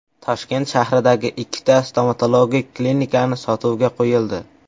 Toshkent shahridagi ikkita stomatologik klinikani sotuvga qo‘yildi.